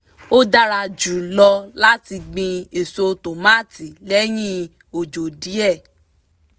ó dára jù lọ láti gbin èso tòmátì lẹ́yìn òjò díẹ̀